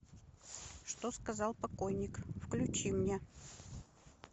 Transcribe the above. что сказал покойник включи мне